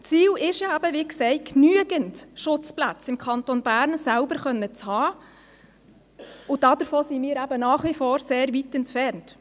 Ziel ist es – wie gesagt –, genügend Schutzplätze im Kanton Bern selbst haben zu können, und davon sind wir eben nach wie vor sehr entfernt.